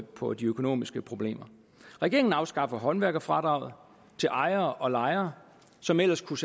på de økonomiske problemer regeringen afskaffer håndværkerfradraget til ejere og lejere som ellers kunne